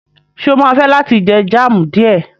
Ṣé o máa fẹ́ láti jẹ jam díẹ̀?